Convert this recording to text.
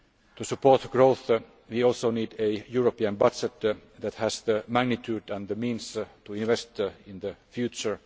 To support growth, we also need a European budget that has the magnitude and the means to invest in the future.